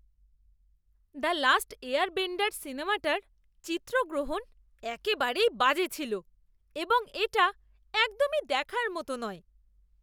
"The last airbender" সিনেমাটার চিত্রগ্রহণ একেবারেই বাজে ছিল এবং এটা একদমই দেখার মতো নয়।